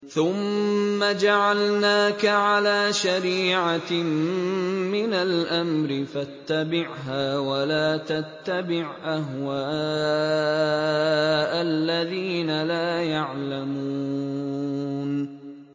ثُمَّ جَعَلْنَاكَ عَلَىٰ شَرِيعَةٍ مِّنَ الْأَمْرِ فَاتَّبِعْهَا وَلَا تَتَّبِعْ أَهْوَاءَ الَّذِينَ لَا يَعْلَمُونَ